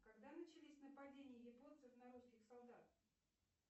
когда начались нападения японцев на русских солдат